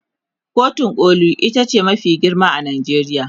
kotun koli itace mafi girma a Najeriya